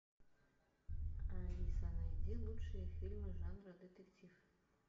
алиса найди лучшие фильмы жанра детектив